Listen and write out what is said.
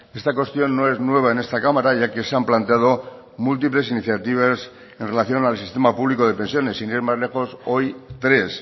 esta cuestión no es nueva en esta cámara ya que se han planteado múltiples iniciativas en relación al sistema público de pensiones sin ir más lejos hoy tres